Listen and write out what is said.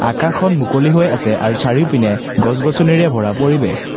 আকাশখন মুকলি হৈ আছে আৰু চাৰিওপিনে গছ গছনিৰে ভৰা পৰিৱেশ।